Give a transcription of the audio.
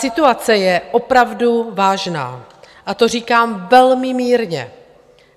Situace je opravdu vážná, a to říkám velmi mírně.